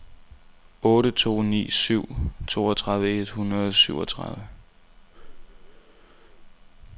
otte to ni syv toogtredive et hundrede og syvogtredive